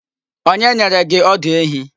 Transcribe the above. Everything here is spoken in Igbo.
Onye nyere gị ọdụ ehi?